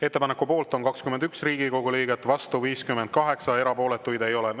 Ettepaneku poolt on 21 Riigikogu liiget, vastu 58, erapooletuid ei ole.